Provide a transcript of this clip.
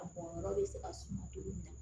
A bɔyɔrɔ bɛ se ka suma cogo min na